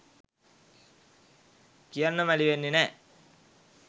කියන්න මැලි වෙන්නෙ නෑ